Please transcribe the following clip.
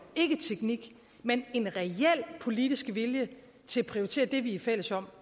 ikke teknik men en reel politisk vilje til at prioritere det vi er fælles om